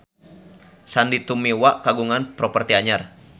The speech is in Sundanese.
Sandy Tumiwa kagungan properti anyar